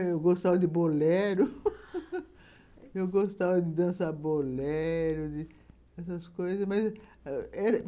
Eu gostava de bolero, eu gostava de dançar bolero... essas coisas.